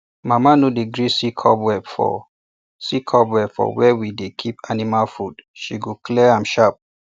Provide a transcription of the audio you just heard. mama no dey gree see cobweb for see cobweb for where we dey keep animal food she go clear am sharp